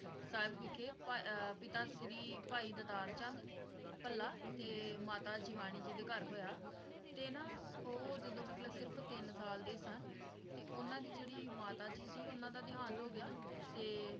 ਸਾਹਿਬ ਵਿਖੇ ਭਾ~ ਪਿਤਾ ਸ਼੍ਰੀ ਭਾਈ ਦਤਾਰ ਚੰਦ ਭੱਲਾ, ਤੇ ਮਾਤਾ ਜਿਵਾਨੀ ਜੀ ਦੇ ਘਰ ਹੋਇਆ ਤੇ ਨਾ ਉਹ ਜਦੋਂ ਮਤਲਬ ਸਿਰਫ ਤਿੰਨ ਸਾਲ ਦੇ ਸਨ ਤੇ ਉਹਨਾਂ ਦੀ ਜਿਹੜੀ ਮਾਤਾ ਜੀ ਸੀ ਉਹਨਾਂ ਦਾ ਦੇਹਾਂਤ ਹੋਗਿਆ ਤੇ